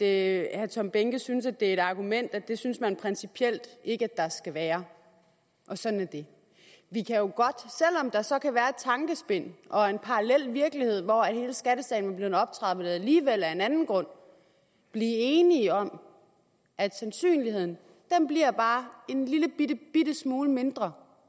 herre tom behnke synes det er et argument at det synes man principielt ikke at der skal være og sådan er det vi kan jo godt selv der så kan være et tankespind og en parallel virkelighed hvor hele skattesagen var blevet optrappet alligevel af en anden grund blive enige om at sandsynligheden bliver bare en lillebitte smule mindre